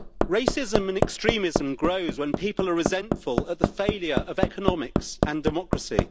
Racism and extremism grow when people are resentful at the failure of economics and democracy.